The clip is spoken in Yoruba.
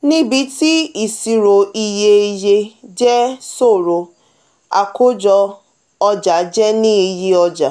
níbí tí iṣiro iye yẹ jẹ ṣòro akojo oja jẹ ní iye ọja.